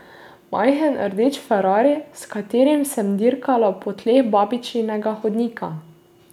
Majhen rdeč ferrari, s katerim sem dirkala po tleh babičinega hodnika.